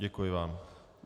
Děkuji vám.